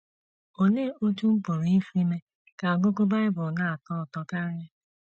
Olee Otú M Pụrụ Isi Mee Ka Ọgụgụ Bible Na - atọ Ụtọ Karị?